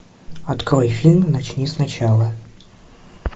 открой фильм начни сначала